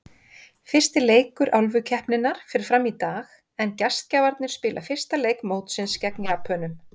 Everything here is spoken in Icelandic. Fyrsti leikur Álfukeppninnar fer fram í dag, en gestgjafarnir spila fyrsta leik mótsins gegn Japönum.